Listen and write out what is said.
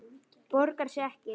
Borgar sig ekki?